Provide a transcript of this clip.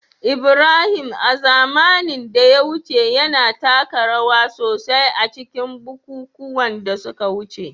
Ibrahim, a zamanin da ya wuce, yana taka rawa sosai a cikin bukukuwan da suka wuce